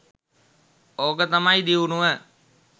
ඕක තමයි දියුණුව